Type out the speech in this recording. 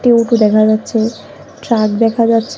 দেখা যাচ্ছে ট্রাক দেখা যাচ্ছে।